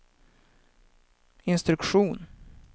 instruktion